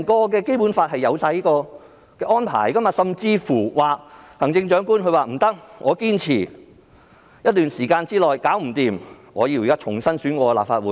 《基本法》訂明這種安排，如行政長官在一段時間後還未能做到，便可要求重新選舉立法會。